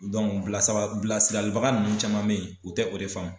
bila saba bilasiralibaga ninnu caman mɛ ye u tɛ o de faamu.